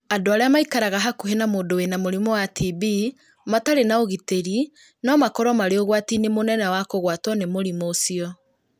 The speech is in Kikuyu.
Andũ arĩa maikaraga hakuhĩ na mũndũ wĩna mũrimũ wa TB matarĩ na ũgitĩri no makorũo marĩ ũgwati-inĩ mũnene wa kũgwatwo nĩ mũrimũ ũcio,